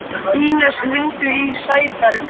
Ínes, hringdu í Sæberg.